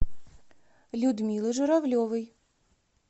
людмилы журавлевой